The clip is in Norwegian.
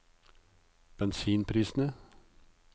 bensinprisene